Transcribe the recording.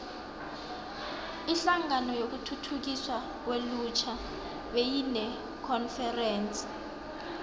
inhlangano yokuthuthukiswa kwelutjha beyinekonferense